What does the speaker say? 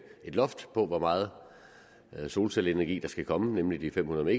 et loft på hvor meget solcelleenergi der skal komme nemlig de fem hundrede